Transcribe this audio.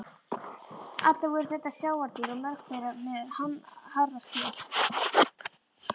Allt voru þetta sjávardýr og mörg þeirra með harða skel.